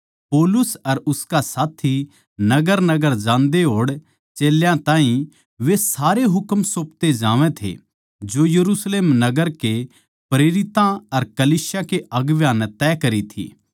पौलुस अर उसका साथी नगरनगर जांदे होड़ चेल्यां ताहीं वे सारे हुकम सौपते जावै थे जो यरुशलेम नगर के प्रेरितां अर कलीसिया के अगुवां नै तय करी थी